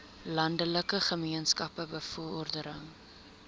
landelike gemeenskappe bevordering